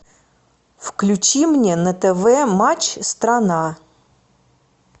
включи мне на тв матч страна